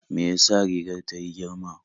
Me ya sa rigar ta yi girma?